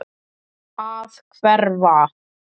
Að hverfa.